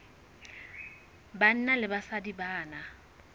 banna le basadi ba na